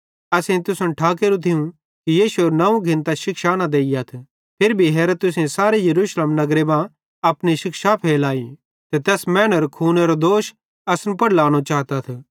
असेईं तुसन ठाकेरू थियूं कि यीशु एरू नवं घिन्तां शिक्षा न देइयथ फिरी भी हेरा तुसेईं सारे यरूशलेम नगरे मां अपनी शिक्षा फैलाई ते तैस मैनेरो खूनेरो दोष असन पुड़ लानो चातथ